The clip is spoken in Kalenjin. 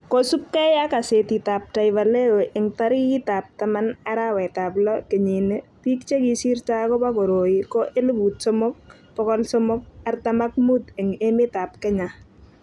kosubgei ak gasetitab Taifa leo eng' tarikitab taman, arawetab lo, kenyit ni, biik che kisirto akobo koroi ko elput somok, bokol somok, artam ak mut eng' emetab Kenya.